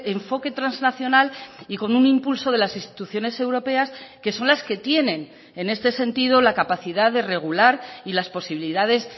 enfoque trasnacional y con un impulso de las instituciones europeas que son las que tienen en este sentido la capacidad de regular y las posibilidades